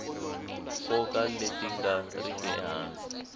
nkoka leti nga riki ehansi